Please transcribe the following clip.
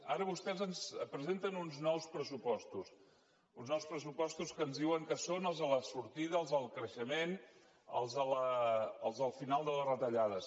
ara vostès ens presenten uns nous pressupostos uns nous pressupostos que ens diuen que són els de la sortida els del creixement els del final de les retallades